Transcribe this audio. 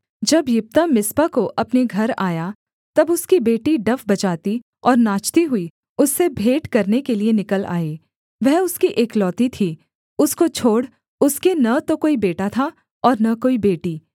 जब यिप्तह मिस्पा को अपने घर आया तब उसकी बेटी डफ बजाती और नाचती हुई उससे भेंट करने के लिये निकल आई वह उसकी एकलौती थी उसको छोड़ उसके न तो कोई बेटा था और न कोई बेटी